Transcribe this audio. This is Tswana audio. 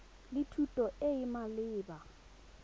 le thuto e e maleba